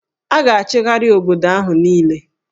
A ga-achịgharị obodo ahụ niile